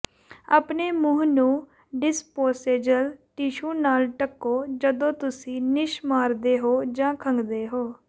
ਆਪਣੇ ਮੂੰਹ ਨੂੰ ਡਿਸਪੋਸੇਜਲ ਟਿਸ਼ੂ ਨਾਲ ਢੱਕੋ ਜਦੋਂ ਤੁਸੀਂ ਨਿੱਛ ਮਾਰਦੇ ਹੋ ਜਾਂ ਖੰਘਦੇ ਹੋ